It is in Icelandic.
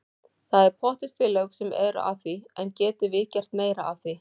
Það eru pottþétt félög sem eru að því en getum við gert meira af því?